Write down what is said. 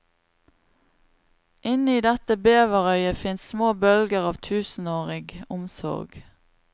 Inne i dette beverøyet fins små bølger av tusenårig omsorg.